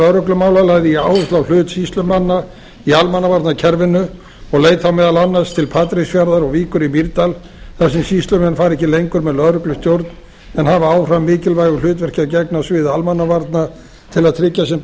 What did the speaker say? lögreglumála lagði ég áherslu á hlut sýslumanna í almannavarnakerfinu og leit þá meðal annars til patreksfjarðar og víkur í mýrdal þar sem sýslumenn fara ekki lengur með lögreglustjórn en hafa áfram mikilvægu hlutverki að gegna á sviði almannavarna til að tryggja sem